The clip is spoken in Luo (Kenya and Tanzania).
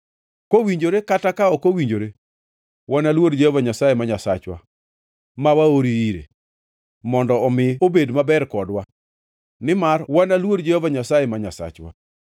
Kowinjore kata ka ok owinjore, wanaluor Jehova Nyasaye ma Nyasachwa, ma waori ire, mondo omi obed maber kodwa, nimar wanaluor Jehova Nyasaye ma Nyasachwa.”